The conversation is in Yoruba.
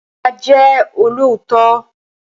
Má Ję olóòtọ́!